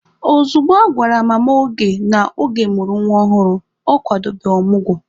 Ozugbo a gwara Mama Oge na Oge mụrụ nwa ọhụrụ, ọ kwadobe ọmụgwọ.